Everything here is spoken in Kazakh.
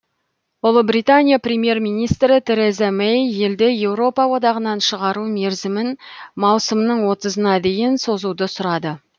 ұлыбритания премьер министрі тереза мэй елді еуропа одағынан шығару мерзімін маусымның отызына дейін созуды сұрады